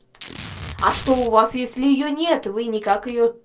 а что у вас если её нет вы никак её